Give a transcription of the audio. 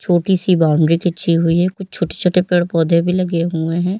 छोटी-सी बाउंड्री खिंची हुई है कुछ छोटे-छोटे पेड़-पौधे भी लगे हुए हैं।